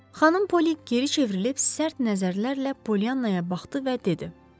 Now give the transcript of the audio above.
Xanım Poli geri çevrilib sərt nəzərlərlə Polyannaya baxdı və dedi.